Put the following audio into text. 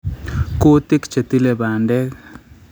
Kutik chetile bandek